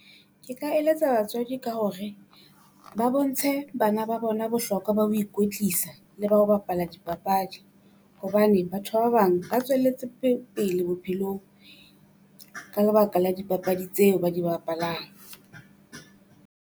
Ke ka eletsa batswadi ka hore ba bontshe bana ba bona bohlokwa ba ho ikwetlisa le ba ho bapala dipapadi, hobane batho ba bang ba tswelletse pele bophelong ka lebaka la dipapadi tseo ba di bapalang.